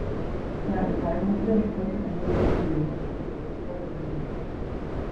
Ng'ado paro maber konyo ahinya e miyo ng'ato obed gi paro mowinjore.